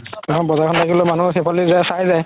বজাৰখন থাকিলে মানুহে সেইফালদি যাই চাই যাই